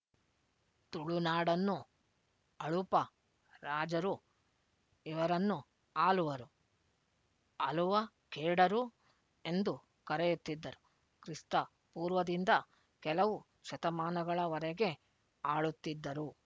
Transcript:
ತುಳುನಾಡನ್ನು ಅಳುಪ ರಾಜರು ಇವರನ್ನು ಆಲುವರು ಅಲುವಖೇಡರು ಎಂದು ಕರೆಯುತ್ತಿದ್ದರು ಕ್ರಿಸ್ತಪೂರ್ವದಿಂದ ಕೆಲವು ಶತಮಾನಗಳ ವರೆಗೆ ಆಳುತ್ತಿದ್ದರು